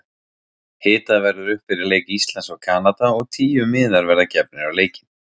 Hitað verður upp fyrir leik Íslands og Kanada og tíu miðar verða gefnir á leikinn.